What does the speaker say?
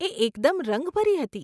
એ એકદમ રંગભરી હતી.